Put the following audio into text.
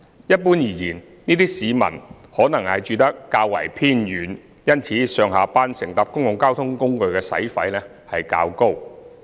一般而言，這些市民可能住得較為偏遠，因此上下班乘搭公共交通工具的使費較高。